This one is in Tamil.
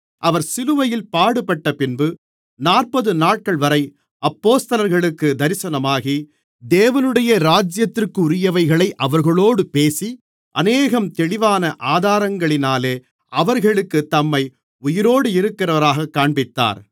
அவர் சிலுவையில் பாடுபட்டப்பின்பு நாற்பது நாட்கள்வரை அப்போஸ்தலர்களுக்குத் தரிசனமாகி தேவனுடைய இராஜ்யத்திற்குரியவைகளை அவர்களோடு பேசி அநேகம் தெளிவான ஆதாரங்களினாலே அவர்களுக்குத் தம்மை உயிரோடிருக்கிறவராகக் காண்பித்தார்